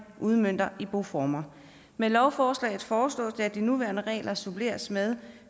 udmønter i boformer med lovforslaget foreslås det at de nuværende regler suppleres med